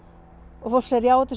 og fólk segir já þetta